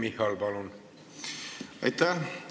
Aitäh!